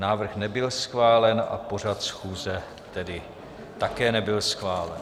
Návrh nebyl schválen a pořad schůze tedy také nebyl schválen.